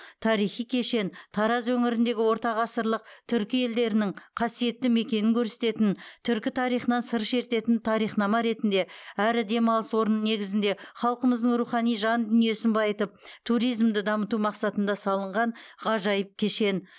тарихи кешен тараз өңіріндегі ортағасырлық түркі елдерінің қасиетті мекенін көрсететін түркі тарихынан сыр шертетін тарихнама ретінде әрі демалыс орны негізінде халқымыздың рухани жан дүниесін байытып туризмді дамыту мақсатында салынған ғажайып кешен